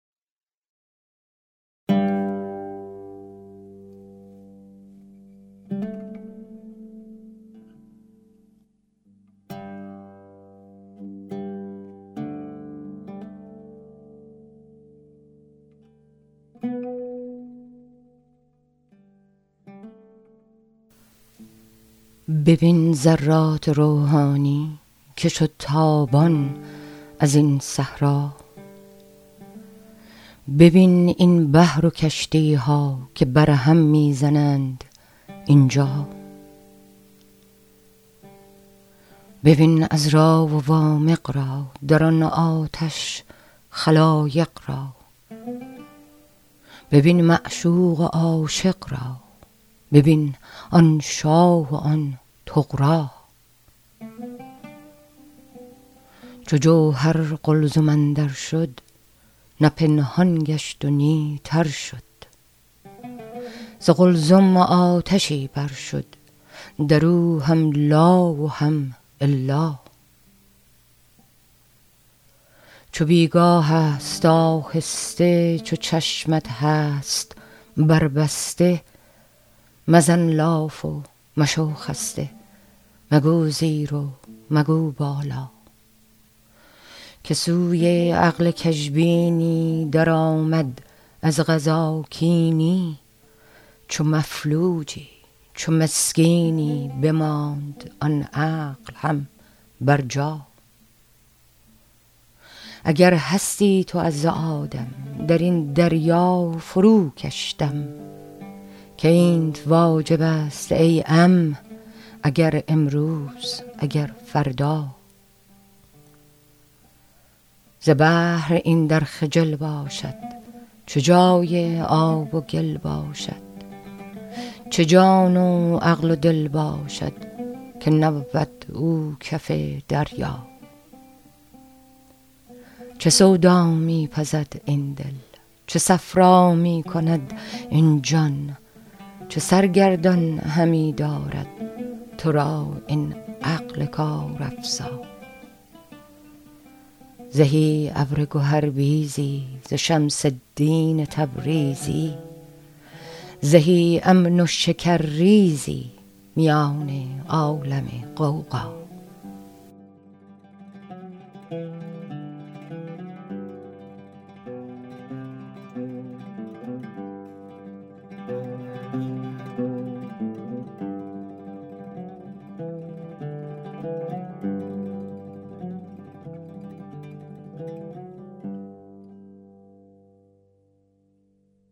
ببین ذرات روحانی که شد تابان از این صحرا ببین این بحر و کشتی ها که بر هم می زنند اینجا ببین عذرا و وامق را در آن آتش خلایق را ببین معشوق و عاشق را ببین آن شاه و آن طغرا چو جوهر قلزم اندر شد نه پنهان گشت و نی تر شد ز قلزم آتشی بر شد در او هم لا و هم الا چو بی گاه ست آهسته چو چشمت هست بربسته مزن لاف و مشو خسته مگو زیر و مگو بالا که سوی عقل کژبینی درآمد از قضا کینی چو مفلوجی چو مسکینی بماند آن عقل هم برجا اگر هستی تو از آدم در این دریا فروکش دم که اینت واجب ست ای عم اگر امروز اگر فردا ز بحر این در خجل باشد چه جای آب و گل باشد چه جان و عقل و دل باشد که نبود او کف دریا چه سودا می پزد این دل چه صفرا می کند این جان چه سرگردان همی دارد تو را این عقل کارافزا زهی ابر گهربیزی ز شمس الدین تبریزی زهی امن و شکرریزی میان عالم غوغا